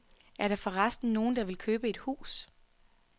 Er der for resten nogen, der vil købe et hus?